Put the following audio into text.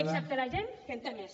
excepte a la gent que en té més